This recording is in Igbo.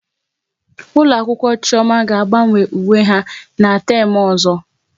Ụlọ akwụkwọ Chioma ga agbanwe uwe ha n'teem ọzọ